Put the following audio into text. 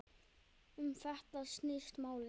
Um þetta snýst málið.